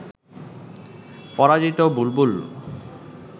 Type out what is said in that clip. পরাজিত বুলবুল